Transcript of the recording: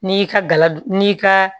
N'i y'i ka gala d n'i ka